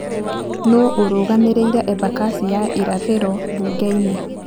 Nũũ ũrũgamĩrĩire Embakasi ya irathĩro mbunge-inĩ?